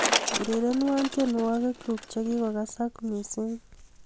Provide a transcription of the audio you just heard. urerenwon tienwogikyuk chegigasak missing